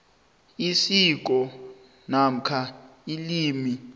isiko namkha ilimi